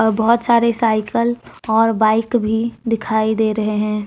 बहुत सारी साइकल और बाइक भी दिखाई दे रहे हैं।